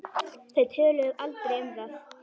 Þau töluðu aldrei um það.